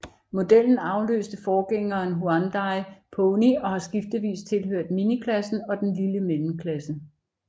Modellen afløste forgængeren Hyundai Pony og har skiftevis tilhørt miniklassen og den lille mellemklasse